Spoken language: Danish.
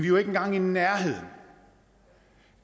jo ikke engang i nærheden